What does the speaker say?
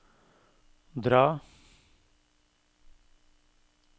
dra